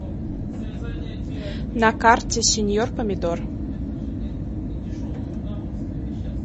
на карте сеньор помидор